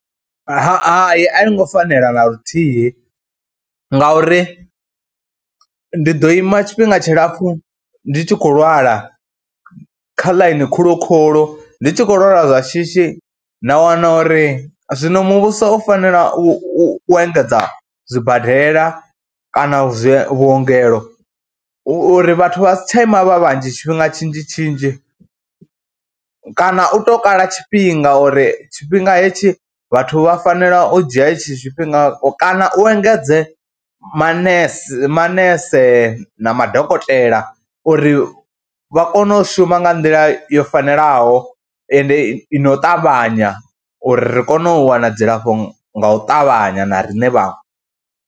Hai a yi ngo fanela na luthihi ngauri ndi ḓo ima tshifhinga tshilapfhu ndi tshi khou lwala kha ḽaini khulu khulu, ndi tshi khou lwala lwa shishi na wana uri, zwino muvhuso u fanela u engedza zwibadela kana zwi vhuongelo, hu uri vhathu vha si tsha ima vha vhanzhi tshifhinga tshinzhi tshinzhi kana u tou kala tshifhinga uri tshifhinga hetshi vhathu vha fanela u dzhia hetshi tshifhinga kana u engedze manese manese na madokotela uri vha kone u shuma nga nḓila yo fanelaho, ende i no u ṱavhanya uri ri kone u wana dzilafho nga u ṱavhanya na riṋe vhaṅwe.